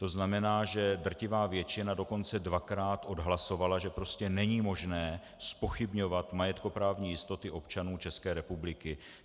To znamená, že drtivá většina dokonce dvakrát odhlasovala, že prostě není možné zpochybňovat majetkoprávní jistoty občanů České republiky.